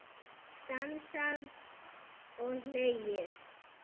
Dansað og hlegið.